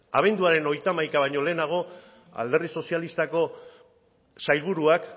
abenduaren hogeita hamaikaa baino lehenago alderdi sozialistako sailburuak